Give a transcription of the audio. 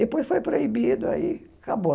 Depois foi proibido, aí acabou.